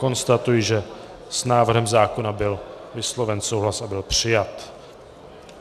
Konstatuji, že s návrhem zákona byl vysloven souhlas a byl přijat.